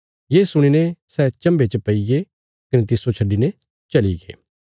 ये सुणी ने सै चम्भे च पैईये कने तिस्सो छड्डिने चलीगे